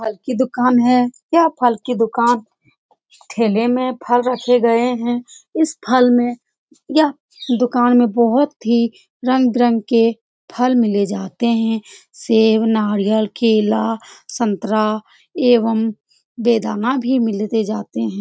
फल की दुकान हे | यह फल की दुकान ठेले में फल रखे गए हे | इस फल में यह दुकान में बहुत ही रंग विरंगे फल मिले जाते हे सेव नारियल केला संतरा एवं मिले जाते हे ।